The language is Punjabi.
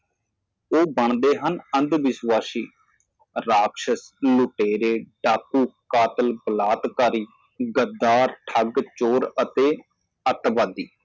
ਉਹ ਬਣਦੇ ਹਨ ਅੰਧਵਿਸ਼ਵਾਸੀ ਰਾਕਸ਼ਸ ਲੁਟੇਰੇ ਡਾਕੂ ਕਾਤਲ ਬਲਾਤਕਾਰੀ ਗਦਾਰ ਠੱਗ ਚੋਰ ਅਤੇ ਅਤਵਾਦੀ